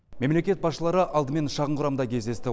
мемлекет басшылары алдымен шағын құрамда кездесті